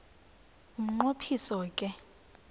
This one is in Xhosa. umnqo phiso ke